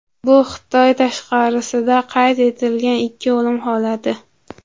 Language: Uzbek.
Bu Xitoy tashqarisida qayd etilgan ikki o‘lim holati.